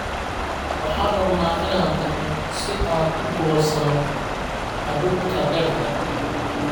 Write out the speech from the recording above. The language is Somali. Waxaan rabnaa inaan tagno si aan u goosanno hadhuudhka beerta